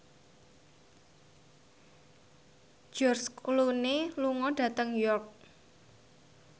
George Clooney lunga dhateng York